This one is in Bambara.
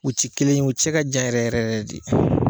U ti kelen ye u cɛ ka jan yɛrɛ yɛrɛ de.